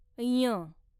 ञ